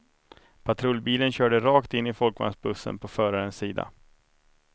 Patrullbilen körde rakt in i folkvagnsbussen på förarens sida.